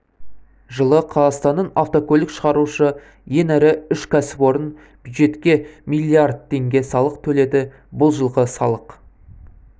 жылы қазақстанның автокөлік шығарушы ең ірі үш кәсіпорын бюджетке миллиард теңге салық төледі бұл жылғы салық